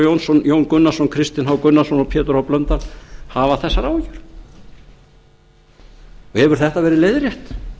jónsson jón gunnarsson kristinn h gunnarsson og pétur h blöndal hafa þessar áhyggjur og hefur þetta verið leiðrétt